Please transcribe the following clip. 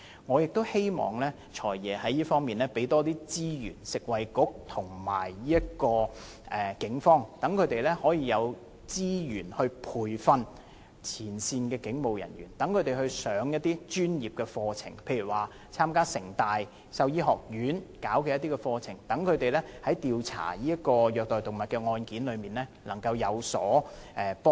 我希望"財爺"就這方面增撥資源予食物及衞生局和警方，以培訓前線警務人員，例如讓他們參加香港城市大學動物醫學及生命科學學院舉辦的一些課程，以加強調查虐待動物案件時的能力。